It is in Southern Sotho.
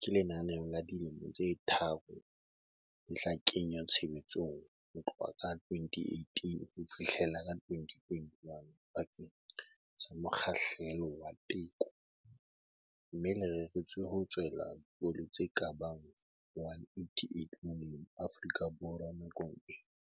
ke lenaneo la dilemo tse tharo le tla kenngwa tshebetsong ho tloha ka 2018 ho fihlela 2021 bakeng sa mokgahlelo wa teko, mme le reretswe ho tswela dikolo tse ka bang 188 molemo Afrika Borwa nakong ena.